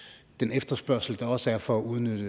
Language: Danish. efterspørgsel der også er for at udnytte